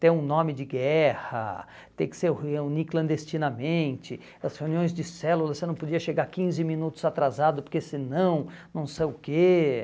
Ter um nome de guerra, ter que se reunir clandestinamente, as reuniões de células, você não podia chegar quinze minutos atrasado porque senão não sei o quê.